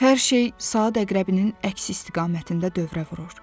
Hər şey saat əqrəbinin əks istiqamətində dövrə vurur.